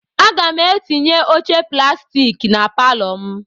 Aga m etinye oche plastik na palọ m.